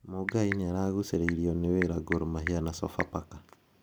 Mungai nĩaragucĩrĩrio nĩ wĩra Gor Mahia na Sofapaka.